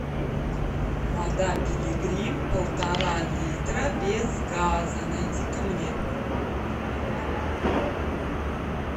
вода пилигрим полтора литра без газа найди ка мне